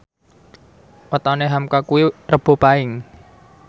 wetone hamka kuwi Rebo Paing